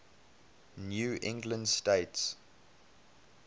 new england states